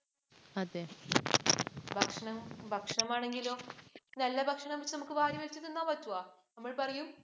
ഭക്ഷണം, ഭക്ഷണമാണെങ്കിലോ, നല്ല ഭക്ഷണമാച്ചാ നമുക്ക് വാരിവലിച്ച് തിന്നാന്‍ പറ്റുമോ, പറയൂ